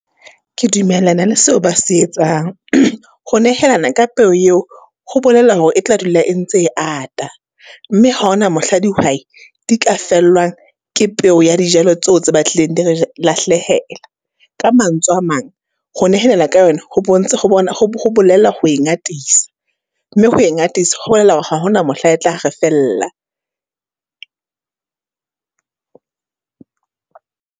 Ke dumellana le seo ba se etsang. Ho nehelana ka peo eo, ho bolela hore e tla dula e ntse e ata. Mme ha ho na mohla dihwai, di ka fellwang ke peo ya dijalo tseo tse batlileng di re lahlehela. Ka mantswe a mang, ho nehelana ka yona, ho bontsha ho bona ho ho bolela ho e ngatisa. Mme ho e ngatisa, ho bolela hore ha ho na mohla e tlare re fella.